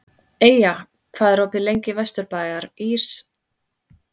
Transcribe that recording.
Eyja, hvað er opið lengi í Vesturbæjarís?